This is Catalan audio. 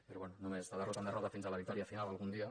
però bé només de derrota en derrota fins a la victòria final algun dia